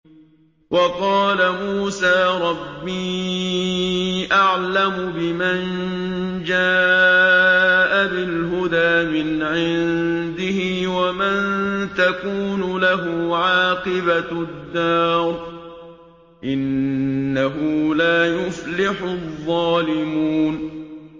وَقَالَ مُوسَىٰ رَبِّي أَعْلَمُ بِمَن جَاءَ بِالْهُدَىٰ مِنْ عِندِهِ وَمَن تَكُونُ لَهُ عَاقِبَةُ الدَّارِ ۖ إِنَّهُ لَا يُفْلِحُ الظَّالِمُونَ